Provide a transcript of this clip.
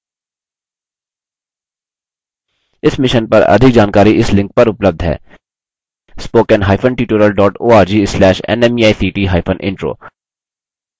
इस mission पर अधिक जानकारी spoken hyphen tutorial dot org slash nmeict hyphen intro link पर उपलब्ध है